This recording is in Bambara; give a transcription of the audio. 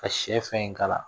Ka sɛ fɛn in k'a la